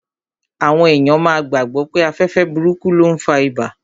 Àwọn èèyàn máa gbàgbọ̀ pé afẹ́fẹ́ burúkú ló n fa ibà